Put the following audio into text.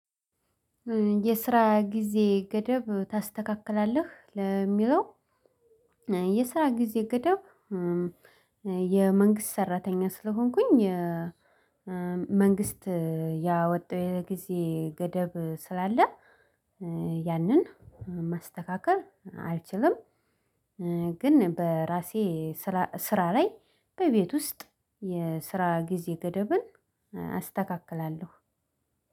የስራ ጊዜ ገደብ ታስተካክላለህ ለሚለው? የስራ ጊዜ ገዳብ የመንግስት ሰራተኛ ስለሆንኩኝ መንግስት ያወጣው የጊዜ ገደብ ስላለ ያንን ማስተካከል አልችልም። ግን በራሴ ስራ ስራ ላይ በቤት ውስጥ የስራ ጊዜ ገደብን አስተካክላለሁ።